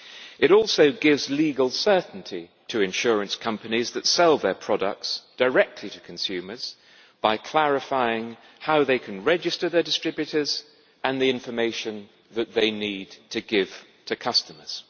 It also gives legal certainty to insurance companies that sell their products directly to consumers by clarifying how they can register their distributors and the information that they need to give to customers.